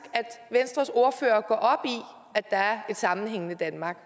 venstres ordfører går op i at der er et sammenhængende danmark